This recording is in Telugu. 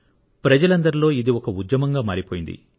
ప్రజలందరిలో ఇది ఒక ఉద్యమంగా మారిపోయింది